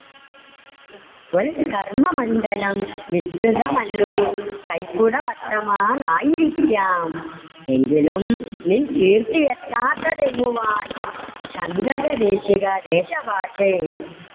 ത്വൽ കർമ്മമണ്ഡലം വിസ്തൃതമാല്ലൊരു കൈക്കുടവട്ടമാണായിരിക്കാം എങ്കിലും നിൻ കീര്‍ത്തിയെത്താത്തതെങ്ങുവാ? ശങ്കരദേശികദേശഭാഷേ